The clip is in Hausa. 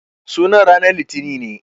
Sunan ranan litinin ne.